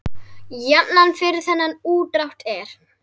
Jafnan fyrir þennan útdrátt er